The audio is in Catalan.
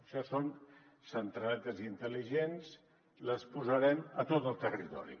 això són centraletes intel·ligents i les posarem a tot el territori